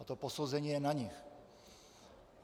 A to posouzení je na nich.